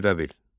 Ərdəbil.